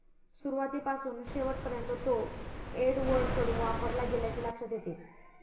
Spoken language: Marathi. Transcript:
सुरुवातीपासून शेवटपर्यंत तो एडवर्डकडून वापरला गेल्याचे लक्षात येते.